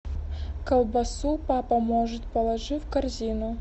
колбасу папа может положи в корзину